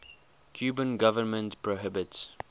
cuban government prohibits